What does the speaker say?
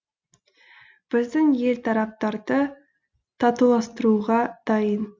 біздің ел тараптарды татуластыруға дайын